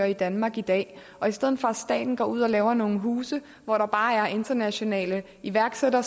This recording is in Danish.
i danmark i dag og i stedet for at staten går ud og laver nogle huse hvor der bare er internationale iværksættere